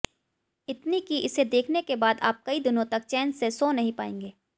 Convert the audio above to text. इतनी की इसे देखने के बाद आप कई दिनों तक चैन से सो नहीं पाएंगे